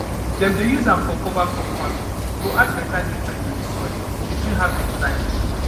dem dey use am for cover crop farming to add better nutrient to the soil between harvest time